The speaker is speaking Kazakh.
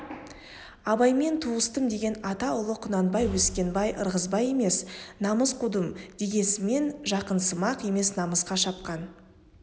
абаймен туыстым деген ата ұлы құнанбай өскенбай ырғызбай емес намыс қудым дегенсіген жақынсымақ емес намысқа шапқан